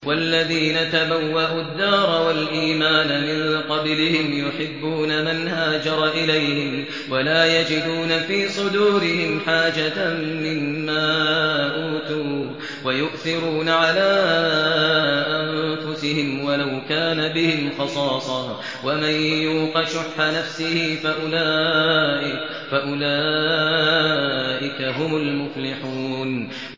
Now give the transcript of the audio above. وَالَّذِينَ تَبَوَّءُوا الدَّارَ وَالْإِيمَانَ مِن قَبْلِهِمْ يُحِبُّونَ مَنْ هَاجَرَ إِلَيْهِمْ وَلَا يَجِدُونَ فِي صُدُورِهِمْ حَاجَةً مِّمَّا أُوتُوا وَيُؤْثِرُونَ عَلَىٰ أَنفُسِهِمْ وَلَوْ كَانَ بِهِمْ خَصَاصَةٌ ۚ وَمَن يُوقَ شُحَّ نَفْسِهِ فَأُولَٰئِكَ هُمُ الْمُفْلِحُونَ